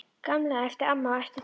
Gamli! æpti amma á eftir Týra.